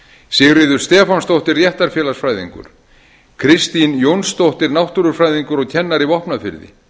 sigríður stefánsdóttir réttarfélagsfræðingur kristín jónsdóttir náttúrufræðingur og kennari vopnafirði